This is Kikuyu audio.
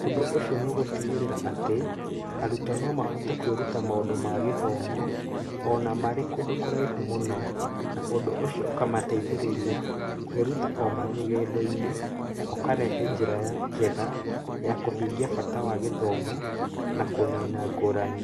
Ũndũ ũcio nĩ ũgũtigĩrĩra atĩ arutwo no mahote kwĩruta maũndũ ma gĩthomo o na marĩ kũndũ kũraihu mũno, na ũndũ ũcio ũkamateithĩrĩria kwĩruta marĩ o rũgendo-inĩ na ũkarehe njĩra njega ya kũhingia bata wa gĩthomo na kũnina ngũrani.